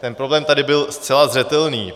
Ten problém tady byl zcela zřetelný.